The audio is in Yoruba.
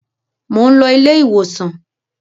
Mò ń lọ ilé-ìwòsàn.